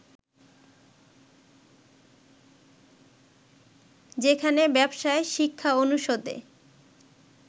যেখানে ব্যবসায় শিক্ষা অনুষদে